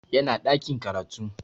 Yana ɗakin karatu